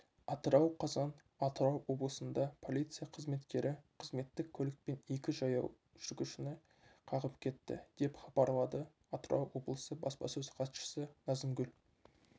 атырау қазан атырау облысында полиция қызметкері қызметтік көлікпен екі жаяу жүргіншіні қағып кетті деп хабарлады атырау облысы баспасөз хатшысы назымгүл